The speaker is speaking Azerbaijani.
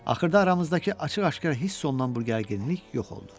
Axırda aramızdakı açıq-aşkar hiss olunan bu gərginlik yox oldu.